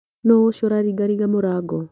Nũũcio ũraringaringa mũrango.